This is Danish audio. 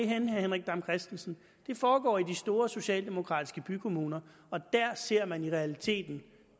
herre henrik dam kristensen det foregår i de store socialdemokratiske bykommuner og der ser man i realiteten